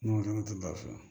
N'o tɛ gafe